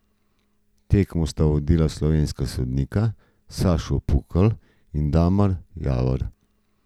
Tekmo sta sodila slovenska sodnika Sašo Pukl in Damir Javor.